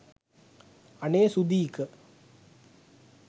අනේ සුදීක